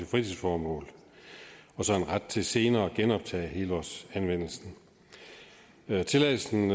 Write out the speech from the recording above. fritidsformål og en ret til senere at genoptage helårsanvendelsen tilladelsen